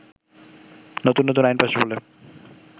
নতুন নতুন আইন পাশের ফলে